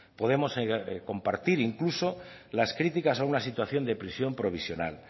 podemos compartir incluso las críticas a una situación de prisión provisional